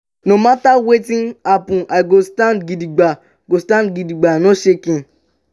no mata wetin happen i go stand gidigba go stand gidigba no shaking.